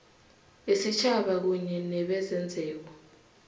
yesitjhaba kunye nebezenzeko